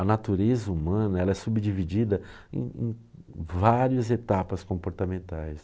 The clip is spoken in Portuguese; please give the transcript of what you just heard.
A natureza humana é subdividida em em em várias etapas comportamentais.